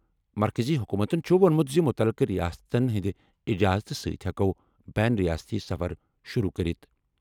مرکٔزی حکوٗمتَن چُھ ووٚنمُت زِ مُتعلقہٕ رِیاستَن ہِنٛدِ اِجازتہٕ سۭتۍ ہٮ۪کَو بین ریاستی سفر شُروٗع کٔرِتھ۔